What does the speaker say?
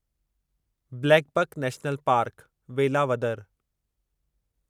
blackbuck national park, Velavadar